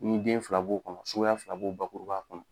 Ni den fila b'o kɔnɔ suguya fila b'o bakuruba kɔnɔ